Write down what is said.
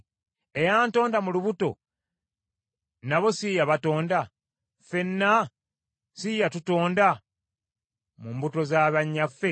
Eyantonda mu lubuto nabo si ye yabatonda? Ffenna si ye yatukola mu mbuto za bannyaffe?